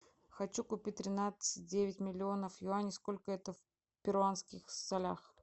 хочу купить тринадцать девять миллионов юаней сколько это в перуанских солях